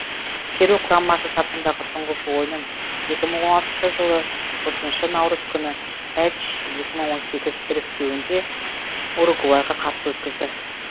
перу құрамасы сапындағы тұңғыш ойынын екі мың он алтыншы жылы отызыншы наурыз күні әч екі мың он сегіз іріктеуінде уругвайға қарсы өткізді